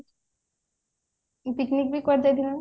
picnic ବି କୁଆଡେ ଯାଇଥିଲୁ ନାଁ